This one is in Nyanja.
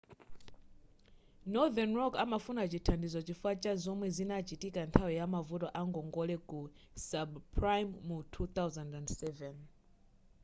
northern rock amafuna chithandizo chifukwa cha zomwe zinachitika nthawi yamavuto a ngongole ku subprime mu 2007